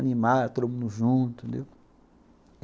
animar, todo mundo junto, entendeu?